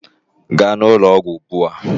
Gaa n'ụlọọgwụ ugbu a!